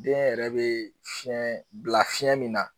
Den yɛrɛ be fiɲɛn bila fiɲɛn min na